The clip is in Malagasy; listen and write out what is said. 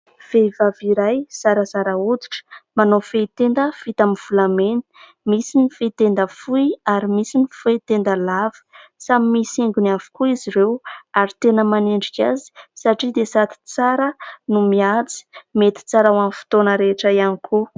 Vehivavy iray zarazara hoditra manao fehitenda vita amin'ny volamena. Misy ny fehitenda fohy ary misy ny fehitenda lava. Samy misy haingony avokoa izy ireo ary tena manendrika azy satria dia sady tsara no mihaja. Mety tsara ho an'ny fotoana rehetra ihany koa.